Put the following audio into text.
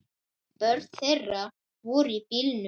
Börn þeirra voru í bílnum.